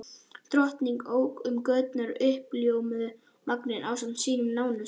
Drottning ók um göturnar í uppljómuðum vagni ásamt sínum nánustu.